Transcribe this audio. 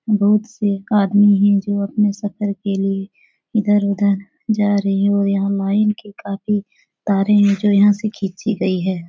बहुत से आदमी है जो अपने सफर के लिए इधर उधर जा रहे हैं और यह लाइन की काफी तारे है जो यहाँ से खींची गई है।